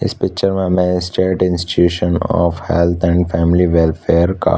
इस पिक्चर में हमें state institute health and family welfare का--